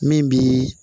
Min bi